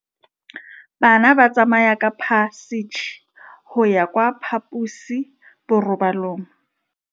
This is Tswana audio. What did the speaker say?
Bana ba tsamaya ka phašitshe go ya kwa phaposiborobalong.